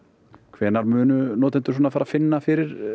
hvenær munu notendur finna fyrir